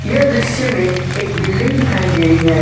इस दृश्य मे एक बिल्डिंग दिखाई दे रही है।